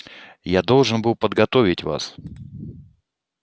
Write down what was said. я должен был подготовить вас